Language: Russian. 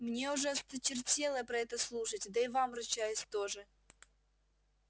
мне уже осточертело про это слушать да и вам ручаюсь тоже